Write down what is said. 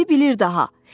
İndi bilir daha.